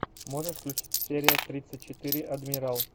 можешь включить серия тридцать четыре адмирал